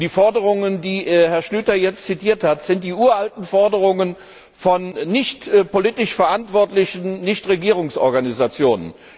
Die Forderungen, die Herr Schlyter jetzt zitiert hat, sind die uralten Forderungen von nicht politisch verantwortlichen Nichtregierungsorganisationen.